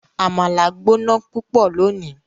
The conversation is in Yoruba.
Amala gbona pupọ loni